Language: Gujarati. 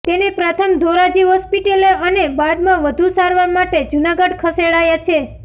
તેને પ્રથમ ધોરાજી હોસ્પિટલે અને બાદમાં વધુ સારવાર માટે જૂનાગઢ ખસેડાયા છે